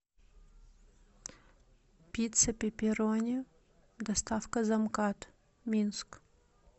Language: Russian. пицца пепперони доставка за мкад минск